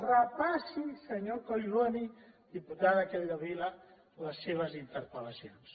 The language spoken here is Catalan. repassi senyor collboni diputada capdevila les seves interpel·lacions